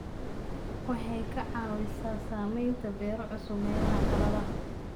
Waxay ka caawisaa samaynta beero cusub meelaha qalalan.